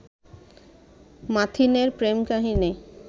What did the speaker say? মাথিনের প্রেম-কাহিনী